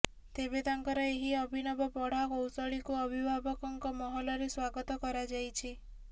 ତେବେ ତାଙ୍କର ଏହି ଅଭିନବ ପଢ଼ା କୌଶଳୀକୁ ଅଭିଭାବକଙ୍କ ମହଲରେ ସ୍ୱାଗତ୍ କରାଯାଇଛି